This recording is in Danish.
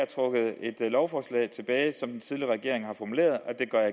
trukket et lovforslag tilbage som den tidligere regering har formuleret